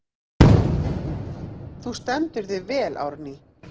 Þú stendur þig vel, Árný!